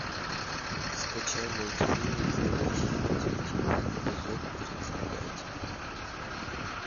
скачай мультфильм настоящий детектив эпизод тридцать пять